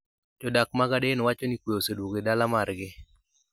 Jodak mag Aden wacho ni kwe oseduogo e dala margi